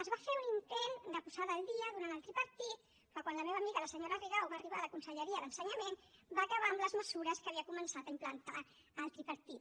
es va fer un intent de posada al dia durant el tripartit però quan la meva amiga la senyora rigau va arribar a la conselleria d’ensenyament va acabar amb les mesures que havia començat a implantar el tripartit